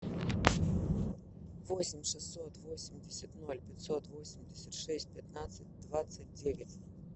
восемь шестьсот восемьдесят ноль пятьсот восемьдесят шесть пятнадцать двадцать девять